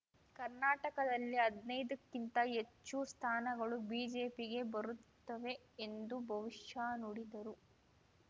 ಕರ್ನಾಟಕದಲ್ಲಿ ಹದ್ನೈದಕ್ಕಿಂತ ಹೆಚ್ಚು ಸ್ಥಾನಗಳು ಬಿಜೆಪಿಗೆ ಬರುತ್ತವೆ ಎಂದು ಭವಿಷ್ಯ ನುಡಿದರು